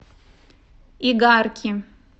игарки